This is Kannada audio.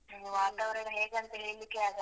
ಇನ್ನು ವಾತಾವರಣ ಹೇಗಂತ ಹೇಳಿಕ್ಕೇ ಆಗಲ್ಲ.